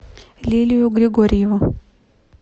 лилию григорьеву